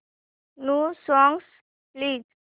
new songs please